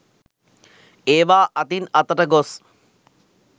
ඒවා අතින් අතට ගොස්